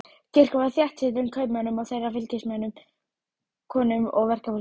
Kirkjan var þéttsetin kaupmönnum og þeirra fylgisveinum, konum og verkafólki.